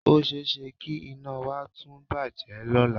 O ṣe é ṣe kí iná wa tún bàjẹ́ lọ́la